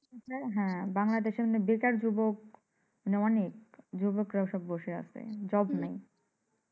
হ্যাঁ বাংলাদেশে এখন বেকার যুবক মানি অনেক যুবকেরা সব বসে আছে job নাই।